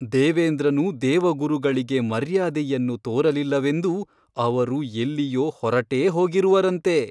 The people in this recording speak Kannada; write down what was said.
ದೇವೇಂದ್ರನು ದೇವಗುರುಗಳಿಗೆ ಮರ್ಯಾದೆಯನ್ನು ತೋರಲಿಲ್ಲವೆಂದು ಅವರು ಎಲ್ಲಿಯೋ ಹೊರಟೇ ಹೋಗಿರುವರಂತೆ !